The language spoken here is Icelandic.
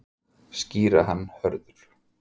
Skýra hann Hörður.